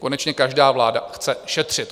Konečně každá vláda chce šetřit.